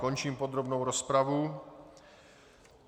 Končím podrobnou rozpravu.